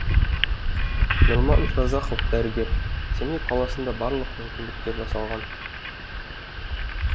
нұрман разахов дәрігер семей қаласында барлық мүмкіндіктер жасалған